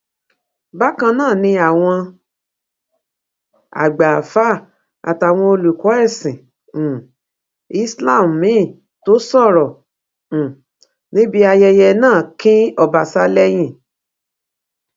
bákan náà ni àwọn àgbà àáfáà àtàwọn olùkọ ẹsìn um islam míín tó sọrọ um níbi ayẹyẹ náà kín ọbaṣá lẹyìn